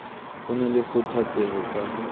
ho na le kgathatseho ka